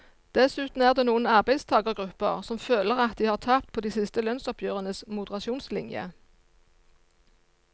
Dessuten er det noen arbeidstagergrupper som føler at de har tapt på de siste lønnsoppgjørenes moderasjonslinje.